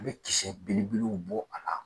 I bɛ kisɛ belebelew bɔ a la